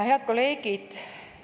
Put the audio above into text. Head kolleegid!